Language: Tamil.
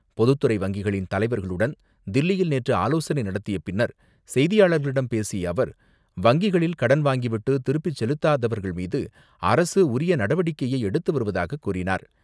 பொதுத்துறை வங்கிகளின் தலைவர்களுடன் தில்லியில் நேற்று ஆலோசனை நடத்திய பின்னர், செய்தியாளர்களிடம் பேசிய அவர், வங்கிகளில் கடன் வாங்கிவிட்டு திருப்பிச் செலுத்தாதவர்கள் மீது அரசு உரிய நடவடிக்கையை எடுத்து வருவதாகக் கூறினார்.